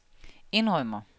indrømmer